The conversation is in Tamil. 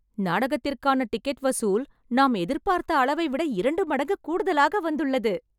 நாடகத்திற்கான டிக்கெட் வசூல் நாம் எதிர்பார்த்த அளவைவிட இரண்டு மடங்கு கூடுதலாக வந்துள்ளது